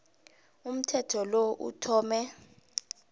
umthetho lo uthome